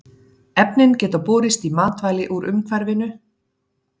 Efnin geta borist í matvæli úr umhverfinu.